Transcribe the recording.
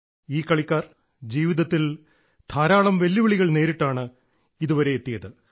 ഈ കളിക്കാർ ജീവിതത്തിൽ ധാരാളം വെല്ലുവിളികൾ നേരിട്ടാണ് ഇതുവരെ എത്തിയത്